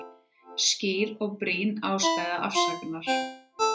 Skýr og brýn ástæða afsagnar